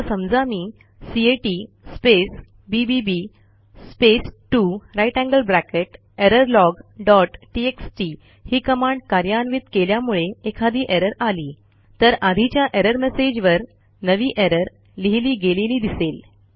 आता समजा मी cat space BBB space 2 greater than sign error log dot TXT ही कमांड कार्यान्वित केल्यामुळे एखादी एरर आली तर आधीच्या एरर मेसेज वर नवी एरर लिहिली गेलेली दिसेल